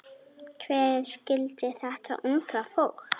Hver skildi þetta unga fólk?